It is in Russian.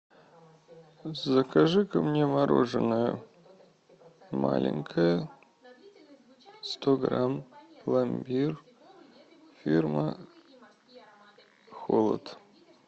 закажи ка мне мороженое маленькое сто грамм пломбир фирма холод